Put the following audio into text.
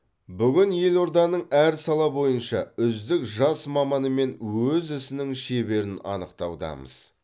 бүгін елорданың әр сала бойынша үздік жас маманы мен өз ісінің шеберін анықтаудамыз